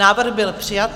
Návrh byl přijat.